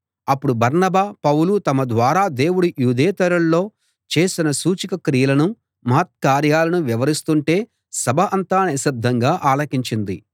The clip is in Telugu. అప్పుడు బర్నబా పౌలు తమ ద్వారా దేవుడు యూదేతరుల్లో చేసిన సూచకక్రియలనూ మహత్కార్యాలనూ వివరిస్తుంటే సభ అంతా నిశ్శబ్దంగా ఆలకించింది